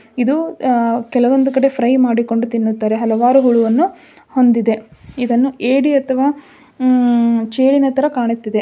ಇದು ಅಹ್ ಕೆಲವಂದು ಕಡೆ ಫ್ರೈ ಮಾಡಿಕೊಂಡು ತಿನ್ನುತ್ತಾರೆ ಹಲವಾರು ಹುಳು ಅನ್ನು ಹೊಂದಿದೆ ಇದನ್ನು ಏಡಿ ಅಥವಾ ಉಮ್ ಚೇಳಿನ ಥರ ಕಾಣುತ್ತಿದೆ.